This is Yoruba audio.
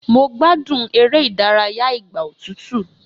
Mo gbádùn eré ìdárayá ìgbà òtútú